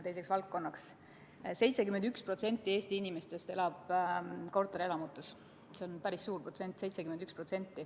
71% Eesti inimestest elab korterelamutes, see on päris suur protsent.